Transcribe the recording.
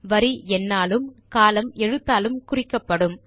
வரி எண்ணாலும் கோலம்ன் எழுத்தாலும் குறிக்கப்படும்